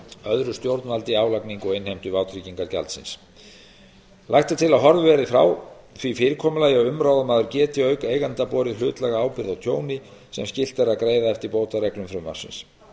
öðru stjórnvaldi álagningu og innheimtu vátryggingagjaldsins lagt er til að horfið verði frá því fyrirkomulagi að umráðamaður geti auk eiganda borið hlutlæga ábyrgð á tjóni sem skylt er að greiða eftir bótareglum frumvarpsins